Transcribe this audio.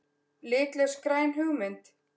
Litlaus græn hugmynd?